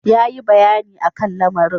Yayi bayani a kan lamarin.